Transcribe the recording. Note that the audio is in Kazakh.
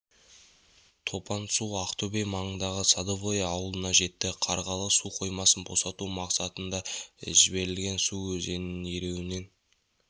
топан су ақтөбе маңындағы садовое ауылына жетті қарғалы су қоймасын босату мақсатында жіберілген су өзеннің ернеуінен